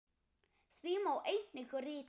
Því má einnig rita